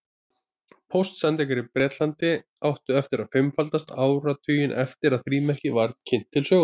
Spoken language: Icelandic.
Póstsendingar í Bretlandi áttu eftir að fimmfaldast áratuginn eftir að frímerkið var kynnt til sögunnar.